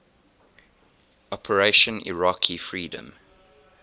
operation iraqi freedom